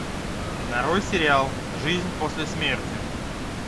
нарой сериал жизнь после смерти